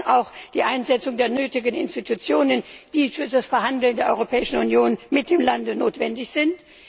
Wir brauchen auch die Einsetzung der nötigen Institutionen, die für das Verhandeln der Europäischen Union mit dem Lande notwendig sind.